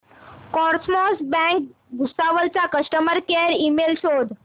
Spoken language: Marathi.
कॉसमॉस बँक भुसावळ चा कस्टमर केअर ईमेल शोध